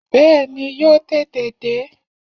Bẹ́ẹ̀ni, yóò tètè dé